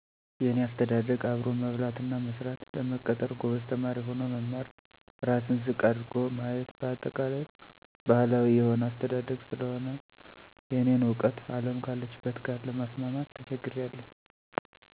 የኔ አስተዳደግ አብሮ መብላት እና መስራት፣ ለመቀጠር ጎበዝ ተማሪ ሆኖ መማር፣ ራስን ዝቅ አድርጎ ማየት በአጠቃላይ ባህላዊ የሆነ አስተዳግ ስለሆነ የእኔን እውቀት አለም ካለችበት ጋር ለማስማማት ተቸግሬአለሁ።